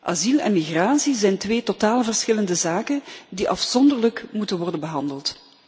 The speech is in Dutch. Asiel en migratie zijn twee totaal verschillende zaken die afzonderlijk moeten worden behandeld.